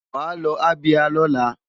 Wàá lọ Abia lọ́la!